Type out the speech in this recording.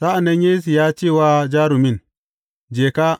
Sa’an nan Yesu ya ce wa jarumin, Je ka!